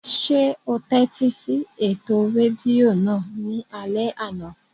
Ṣé o tẹ́tí sí ètò rédíò náà ní alẹ́ àná?